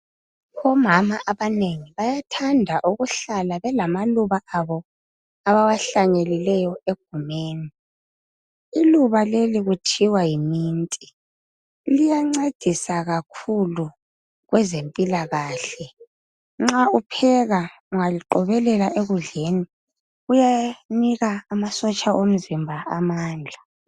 Omama abanengi bayathanda ukuhlala belamaluba abo abawahlanyelileyo egumeni. Iluba leli kuthiwa yimint liyancedisa kakhulu kwezempilakahle nxa upheka ungaliqobelela embizeni liyanika amasotsha omzimba amandla.